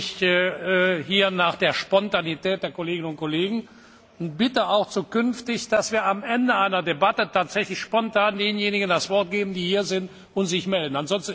Ich richte mich hier nach der Spontaneität der Kolleginnen und Kollegen und bitte auch zukünftig, dass wir am Ende einer Debatte tatsächlich spontan denjenigen das Wort geben, die hier sind und sich melden.